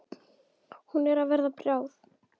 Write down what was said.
Hún er að verða bráð.